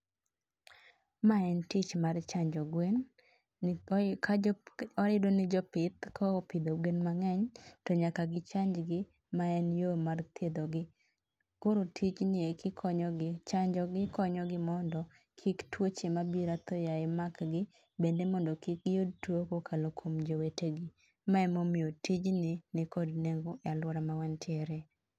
Ma en tich mar chanjo gwen, ka jopith jopith ka opidho gwen mang'eny, to nyaka gichanj gi, ma en yo mar thiedho gi. Koro tijni eki konyo gi chanjogi konyo gi mondo, kik tuoche mabiro athoyaye mak gi, bende mondo kik giyud tuo kokalo kuom jowetegi. ma emomiyo tijni nikod nengo e alwora mawantiere